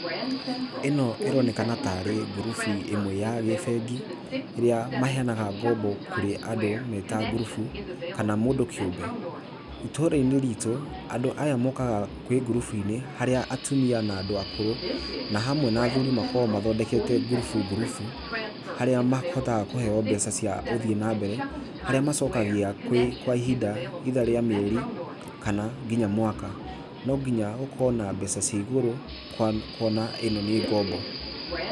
Ĩno ĩronekana tarĩ ngurubu ĩmwe ya gĩbengi ĩrĩa maheanaga ngombo kũrĩ andũ meta ngurubu kana mũndũ kĩũmbe. Ĩtũũra-inĩ ritũ, andũ aya mokaga kwĩ ngurubu-inĩ harĩa atumia na andũ akũrũ na hamwe na athuri makoragwo mathondekete ngurubu ngurubu, harĩa mahotaga kũheo mbeca cia ũthii nambere, harĩa macokagia kwĩ kwa ihinda either rĩa mĩeri kana nginya mwaka. No nginya ũkorwo na mbeca cia igũrũ kwa kuona ĩno nĩ ngombo.